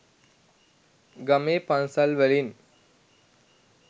ගමේ පන්සල් වලින්